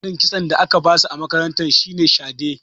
Tsarin kitson da aka ba su a makaranta shi ne shade.